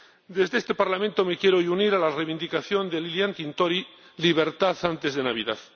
Desde este Parlamento me quiero hoy unir a la reivindicación de Lilian Tintori Libertad antes de Navidad.